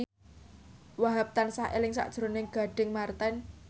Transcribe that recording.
Wahhab tansah eling sakjroning Gading Marten